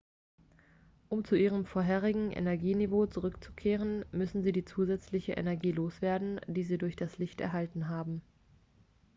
um zu ihrem vorherigen energieniveau zurückzukehren müssen sie die zusätzliche energie loswerden die sie durch das licht erhalten haben